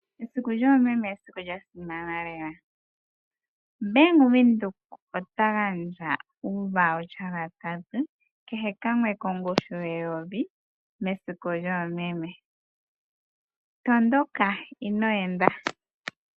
Esiku lyoomeme esiku lya simana lela. Bank Windhoek otagandja uukalata wiikulya yoshali kehe kamwe kongushu yeyovi mesiku lyoomeme. Tondoka ino enda .